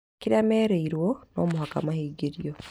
Kĩrĩa merĩrwo no mũhaka mahingĩrio